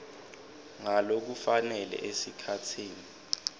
ngalokufanele esikhatsini